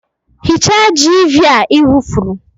Hichaa jiiviia i wufuru!